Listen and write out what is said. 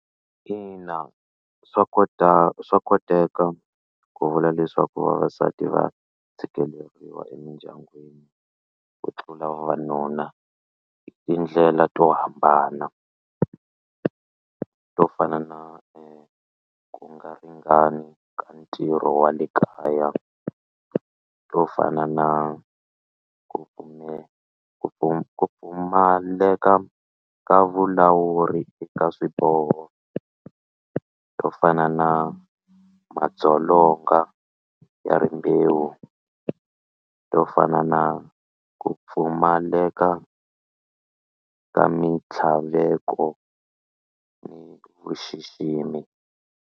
Ina swa swa koteka ku vula leswaku vavasati va tshikeleriwa emindyangwini ku tlula vavanuna hi tindlela to hambana to fana na ti ku nga ringani ka ntirho wa le kaya to fana na ku ku pfumaleka ka vulawuri eka swiboho to fana na madzolonga ya rimbewu to fana na ku pfumaleka ka mitlhaveko ni vuxiximi.